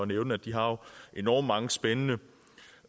nævne at de har enormt mange spændende